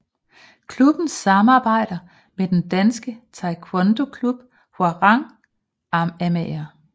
Klubben samarbejder med den danske taekwondoklub Hwarang Amager